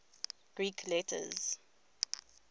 greek letters